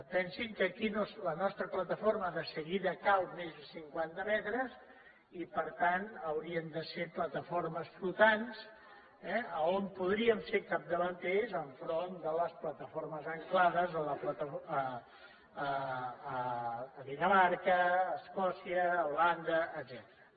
pensin que aquí la nostra plataforma de seguida cau més de cinquanta metres i per tant haurien de ser plataformes flotants eh on podríem ser capdavanters enfront de les plataformes ancorades a dinamarca a escòcia a holanda etcètera